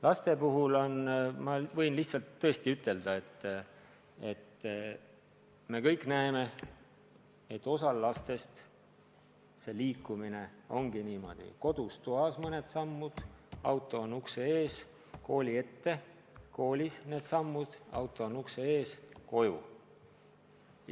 Laste kohta võin tõesti ütelda, et me kõik näeme, et osal lastest liikumine käibki niimoodi, et teeb kodus toas mõned sammud, auto on ukse ees, sõidab kooli ette, koolis teeb mõned sammud, siis on jälle auto ukse ees, ja koju.